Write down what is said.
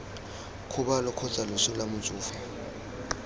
kgobalo kgotsa loso lwa motsofe